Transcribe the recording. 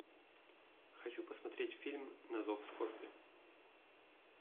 хочу посмотреть фильм на зов скорби